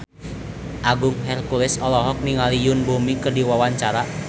Agung Hercules olohok ningali Yoon Bomi keur diwawancara